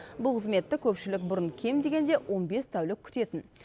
бұл қызметті көпшілік бұрын кем дегенде он бес тәулік күтетін